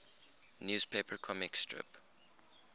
newspaper comic strip